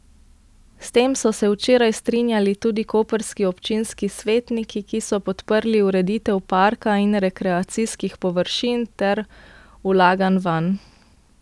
S tem so se včeraj strinjali tudi koprski občinski svetniki, ki so podprli ureditev parka in rekreacijskih površin ter vlaganj vanj.